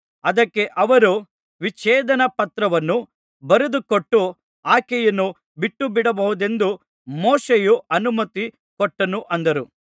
ಅದಕ್ಕೆ ಅವರು ವಿಚ್ಛೇದನ ಪತ್ರವನ್ನು ಬರೆದುಕೊಟ್ಟು ಆಕೆಯನ್ನು ಬಿಟ್ಟುಬಿಡಬಹುದೆಂದು ಮೋಶೆಯು ಅನುಮತಿ ಕೊಟ್ಟನು ಅಂದರು